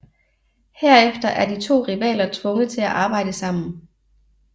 Herefter er de to rivaler tvunget til at arbejde sammen